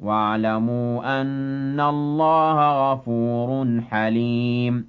وَاعْلَمُوا أَنَّ اللَّهَ غَفُورٌ حَلِيمٌ